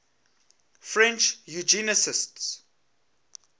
french eugenicists